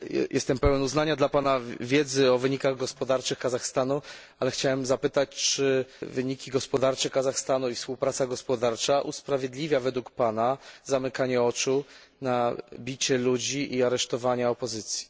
Jestem pełen uznania dla Pana wiedzy o wynikach gospodarczych Kazachstanu, ale chciałem zapytać, czy wyniki gospodarcze Kazachstanu i współpraca gospodarcza usprawiedliwia według Pana zamykanie oczu na bicie ludzi i aresztowania opozycji.